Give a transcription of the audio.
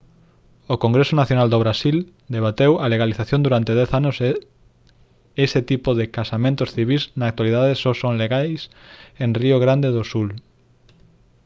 o congreso nacional do brasil debateu a legalización durante 10 anos e ese tipo de casamentos civís na actualidade só son legais en río grande do sul